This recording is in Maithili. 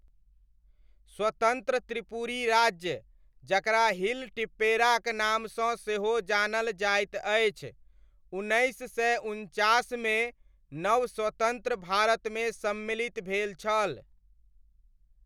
स्वतन्त्र त्रिपुरी राज्य, जकरा हिल टिप्पेराक नामसँ सेहो जानल जाइत अछि, उन्नैस सय उनचासमे नवस्वतन्त्र भारतमे सम्मिलित भेल छल।